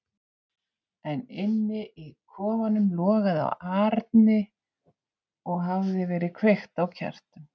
En inni í kofanum logaði á arni og hafði verið kveikt á kertum.